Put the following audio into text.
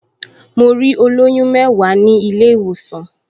Mo rí olóyún mẹ́wàá ní ilé-ìwòsàn